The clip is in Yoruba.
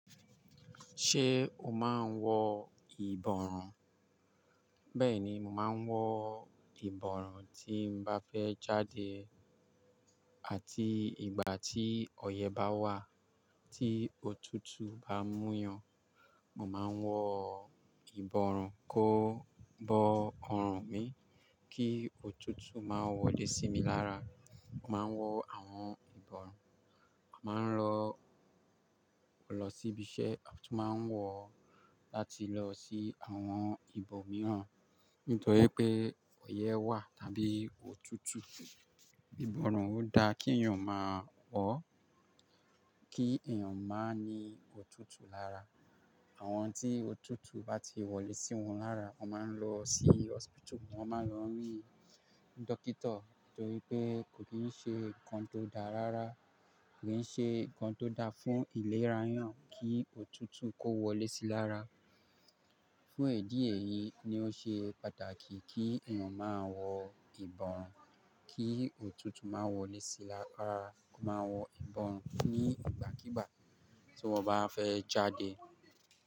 Ṣé o máa ń wọ ìbọrùn? Bẹ́ẹ̀ni, mò máa ń wọ ìbọrùn tí n bá fẹ́ jáde àti ìgbà tí ọyẹ́ bá wà, tí òtútù bá mú yàn. Mo máa ń wọ ìbọrùn kó bó ọrùn mi kí òtútù má wọlé sí mi lára. Mo máa ń wọ àwọn ìbọrùn, màá ń lọ lọ síbi iṣẹ́, àti máa ń wọ láti lọ sí àwọn ibo mìíràn. Nítorí pé ọyẹ́ wà tàbí òtútù. Ìbọrùn ò dá kí èèyàn má wọ, kí èèyàn máa ní òtútù lára. Àwọn tí òtútù bá ti wọlé sí wọn lára, wọ́n máa ń lọ sí hospital, wọ́n máa ń lọ rí dọkítọ nítorí pé kò kìí ṣe nǹkan tó dá rárá. Kò kìí ṣe nǹkan tó dá fún ìlera èèyàn kí òtútù kó wọlé sí i lára. Fún edí eyìí ni ó ṣe pàtàkì kí èèyàn máa wọ ìbọrùn kí òtútù má wọlé sí i lára. Mo máa ń wọ ìbọrùn nígbàkígbà tí mo bá fẹ́ jáde.